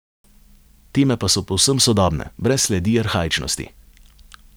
Teme pa so povsem sodobne, brez sledi arhaičnosti.